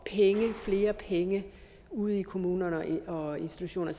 flere penge ude i kommunerne og institutionerne